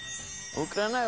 Úkraína